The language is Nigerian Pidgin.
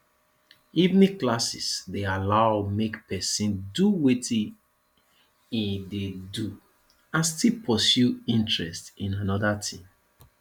evening classes de allow make persin do wetin in de do and still pursue interest in another thing